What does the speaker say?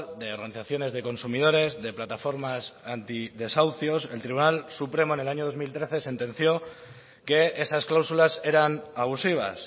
de organizaciones de consumidores de plataformas anti desahucios el tribunal supremo en el año dos mil trece sentenció que esas cláusulas eran abusivas